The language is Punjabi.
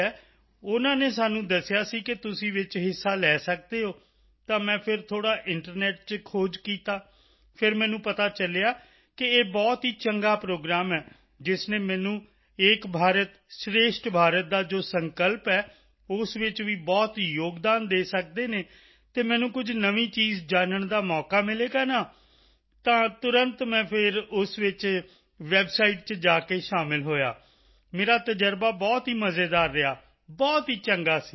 ਹੈ ਉਨ੍ਹਾਂ ਨੇ ਸਾਨੂੰ ਦੱਸਿਆ ਸੀ ਕਿ ਤੁਸੀਂ ਵਿੱਚ ਹਿੱਸਾ ਲੈ ਸਕਦੇ ਹੋ ਤਾਂ ਮੈਂ ਫਿਰ ਥੋੜ੍ਹਾ ਇੰਟਰਨੈੱਟ ਚ ਖੋਜ ਕੀਤਾ ਫਿਰ ਮੈਨੂੰ ਪਤਾ ਚਲਿਆ ਕਿ ਇਹ ਬਹੁਤ ਹੀ ਚੰਗਾ ਪ੍ਰੋਗਰਾਮ ਹੈ ਜਿਸ ਨੇ ਮੈਨੂੰ ਏਕ ਭਾਰਤ ਸ਼੍ਰੇਸ਼ਠ ਭਾਰਤ ਦਾ ਜੋ ਸੰਕਲਪ ਹੈ ਉਸ ਵਿੱਚ ਵੀ ਬਹੁਤ ਯੋਗਦਾਨ ਦੇ ਸਕਦੇ ਹਨ ਅਤੇ ਮੈਨੂੰ ਕੁਝ ਨਵੀਂ ਚੀਜ਼ ਜਾਨਣ ਦਾ ਮੌਕਾ ਮਿਲੇਗਾ ਨਾ ਤਾਂ ਤੁਰੰਤ ਮੈਂ ਫਿਰ ਉਸ ਵਿੱਚ ਵੈੱਬਸਾਈਟ ਵਿੱਚ ਜਾ ਕੇ ਸ਼ਾਮਲ ਹੋਏ ਮੇਰਾ ਤਜ਼ਰਬਾ ਬਹੁਤ ਹੀ ਮਜ਼ੇਦਾਰ ਰਿਹਾ ਬਹੁਤ ਹੀ ਚੰਗਾ ਸੀ